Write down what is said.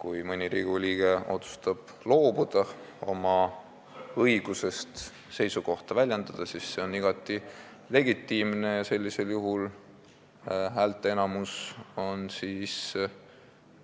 Kui mõni Riigikogu liige otsustab loobuda oma õigusest seisukohta väljendada, siis see on igati legitiimne ja häälteenamus on